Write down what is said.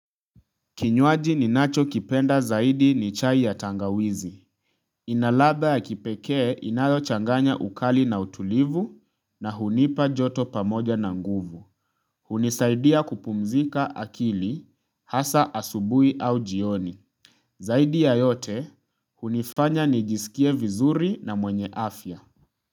Kinywaji ninachokipenda zaidi ni chai ya tangawizi. Ina ladha ya kipekee inayochanganya ukali na utulivu na hunipa joto pamoja na nguvu. Hunisaidia kupumzika akili, hasa asubuhi au jioni. Zaidi ya yote, hunifanya nijisikie vizuri na mwenye afya.